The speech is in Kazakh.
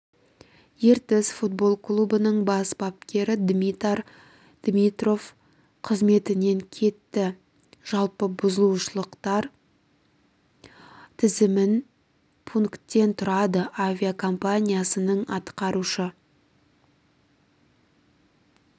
ертіс футбол клубының бас бапкері димитар димитров қызметінен кетті жалпы бұзушылықтар тізімін пункттен тұрады авиакомпаниясының атқарушы